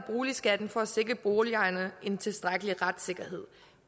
boligskatten for at sikre boligejerne en tilstrækkelig retssikkerhed